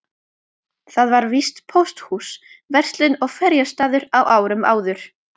Þar var víst pósthús, verslun og ferjustaður á árum áður.